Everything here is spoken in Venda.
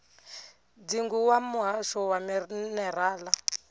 dzingu wa muhasho wa minerala